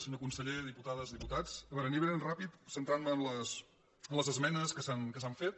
senyor conseller dipu·tades diputats a veure aniré ben ràpid centrant·me en les esmenes que s’han fet